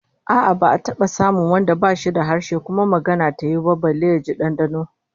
A'a, ba'a taba samun wanda bashi da harshe kuma magana ta yiwu ba, balle jin dandano